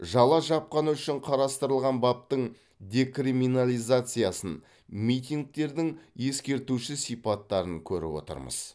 жала жапқаны үшін қарастырылған баптың декриминализациясын митингтердің ескертуші сипаттарын көріп отырмыз